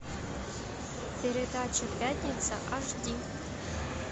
передача пятница аш ди